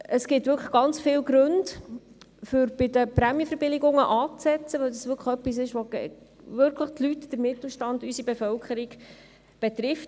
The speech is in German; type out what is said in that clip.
Es gibt ganz viele Gründe, um bei den Prämienverbilligungen anzusetzen, weil es wirklich etwas ist, das die Leute, den Mittelstand, unsere Bevölkerung betrifft.